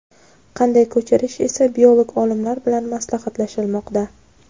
qanday ko‘chirish esa biolog olimlar bilan maslahatlashilmoqda.